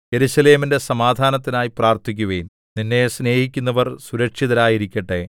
യെരൂശലേമിന്റെ സമാധാനത്തിനായി പ്രാർത്ഥിക്കുവിൻ നിന്നെ സ്നേഹിക്കുന്നവർ സുരക്ഷിതരായിരിക്കട്ടെ